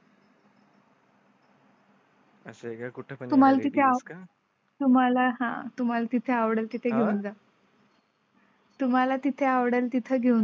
असं तुम्हाला हां तुम्हाला तिथे आवडेल तिथे येऊन जा. तुम्हाला तिथे आवडेल तिथे घेऊन जाऊ.